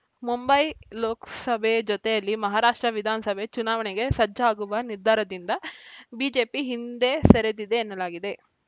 ಮುಂಬೈ ಲೋಕಸಭೆ ಜೊತೆಯಲ್ಲೇ ಮಹಾರಾಷ್ಟ್ರ ವಿಧಾನಸಭೆ ಚುನಾವಣೆಗೆ ಸಜ್ಜಾಗುವ ನಿರ್ಧಾರದಿಂದ ಬಿಜೆಪಿ ಹಿಂದೆ ಸರಿದಿದೆ ಎನ್ನಲಾಗಿದೆ